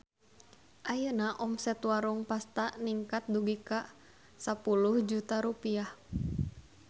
Ayeuna omset Warung Pasta ningkat dugi ka 10 juta rupiah